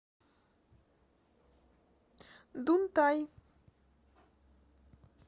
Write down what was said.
дунтай